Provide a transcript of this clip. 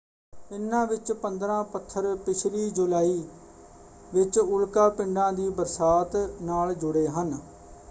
ਇਨ੍ਹਾਂ ਵਿੱਚੋਂ 15 ਪੱਥਰ ਪਿਛਲੀ ਜੁਲਾਈ ਵਿੱਚ ਉਲਕਾ ਪਿੰਡਾਂ ਦੀ ਬਰਸਾਤ ਨਾਲ ਜੁੜੇ ਹਨ।